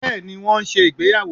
beeni won n se ìgbéyàwò